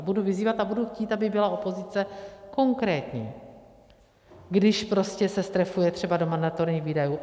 A budu vyzývat a budu chtít, aby byla opozice konkrétní, když prostě se strefuje třeba do mandatorních výdajů.